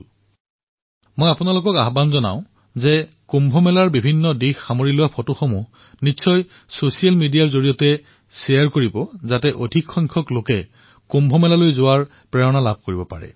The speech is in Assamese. মোৰ সকলোৰে প্ৰতি আহ্বান যে যেতিয়া আপোনালোক কুম্ভলৈ আহিব তেতিয়া কুম্ভৰ বিভিন্ন আলোকচিত্ৰসমূহ ছচিয়েল মিডিয়াত নিশ্চিতভাৱে বিনিময় কৰিব যাতে অধিক সংখ্যক লোকে কুম্ভলৈ অহাৰ বাবে প্ৰেৰণা পায়